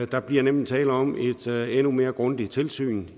der bliver nemlig tale om et endnu mere grundigt tilsyn